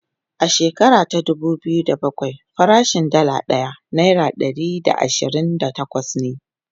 a shekara ta dubu biyu da bakwai farashin Dalla ɗaya naira Ɗari da ashirin da takwas ne